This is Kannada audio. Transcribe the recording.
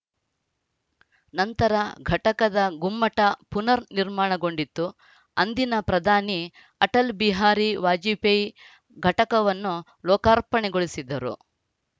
ನಂತರ ಘಟಕದ ಗುಮ್ಮಟ ಪುನರ್‌ ನಿರ್ಮಾಣಗೊಂಡಿತು ಅಂದಿನ ಪ್ರಧಾನಿ ಅಟಲ್‌ ಬಿಹಾರಿ ವಾಜಪೇಯಿ ಘಟಕವನ್ನು ಲೋಕಾರ್ಪಣೆಗೊಳಿಸಿದ್ದರು